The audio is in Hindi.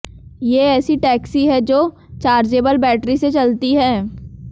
ये ऐसी टैक्सी है जो चार्जेबल बैटरी से चलती है